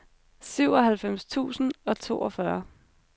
syvoghalvfems tusind og toogfyrre